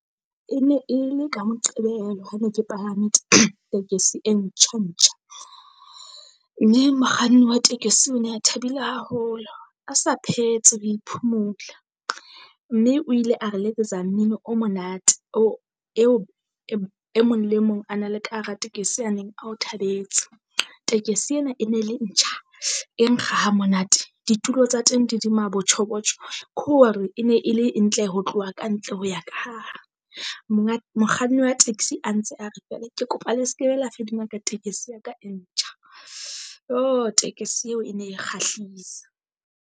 E ne e le ka Moqebelo ha ne ke palame tekesi e ntjha-ntjha, mme mokganni wa tekesi o ne a thabile haholo a sa phetse ho e phumula. Mme o ile a re letsetsa mmino o monate e mong le mong a na le ka hara tekesi ya neng ao thabetse. Tekesi ena e ne le ntjha e nkga hamonate ditulo tsa teng di le maboitjhobotjho. ko hore e ne e le ntle ho tloha ka ntle ho ya ka hare, monga mokganni wa taxi a ntse a re feela ke kopa le se ke be la fedimaka tekesi ya ka e ntjha. Tekesi eo e ne kgahlisa.